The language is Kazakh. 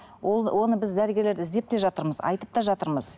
ол оны біз дәрігерлер іздеп те жатырмыз айтып та жатырмыз